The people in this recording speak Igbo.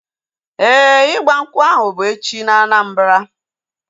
Ee, ịgba nkwụ ahu bu echi na Anambra